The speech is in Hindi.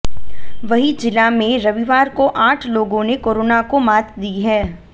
वहीं जिला में रविवार को आठ लोगों ने कोरोना को मात दी है